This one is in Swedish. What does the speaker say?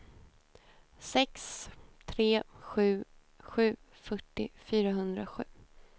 sex tre sju sju fyrtio fyrahundrasju